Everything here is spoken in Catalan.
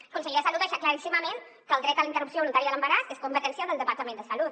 el conseller de salut va deixar claríssim que el dret a la interrupció voluntària de l’embaràs és competència del departament de salut